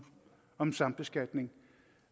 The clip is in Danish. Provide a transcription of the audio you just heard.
om sambeskatning